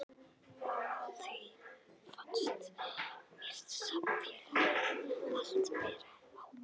Og á því fannst mér samfélagið allt bera ábyrgð.